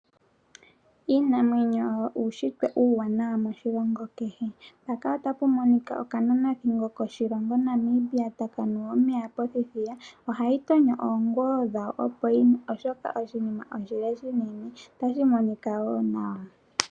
Iinamwenyo oyo uunshitwe uuwanawa moshilongo kehe, okananathingo komoshilongo Namibia ohayi tonyo oongolo opo yinwe omeya omolwashoka oshinima oshile unene. ohayi monika wo nawa.